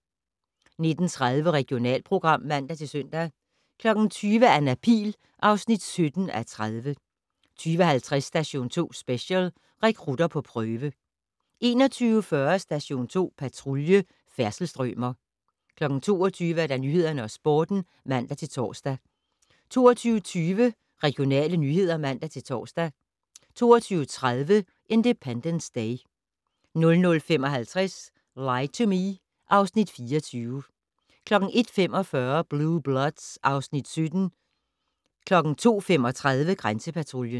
19:30: Regionalprogram (man-søn) 20:00: Anna Pihl (17:30) 20:50: Station 2 Special: Rekrutter på prøve 21:40: Station 2 Patrulje: Færdselsstrømer 22:00: Nyhederne og Sporten (man-tor) 22:20: Regionale nyheder (man-tor) 22:30: Independence Day 00:55: Lie to Me (Afs. 24) 01:45: Blue Bloods (Afs. 17) 02:35: Grænsepatruljen